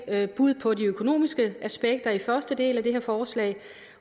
eller bud på de økonomiske aspekter i første del af det her forslag